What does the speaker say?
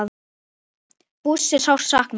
Bússu er sárt saknað.